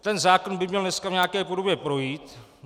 Ten zákon by měl dneska v nějaké podobě projít.